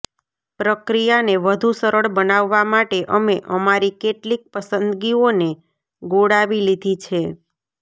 પ્રક્રિયાને વધુ સરળ બનાવવા માટે અમે અમારી કેટલીક પસંદગીઓને ગોળાવી લીધી છે